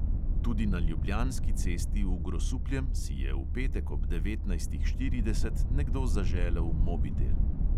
Tudi na ljubljanski cesti v grosupljem si je v petek ob devetnajstih štirideset nekdo zaželel mobitel.